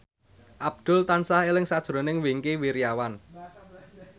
Abdul tansah eling sakjroning Wingky Wiryawan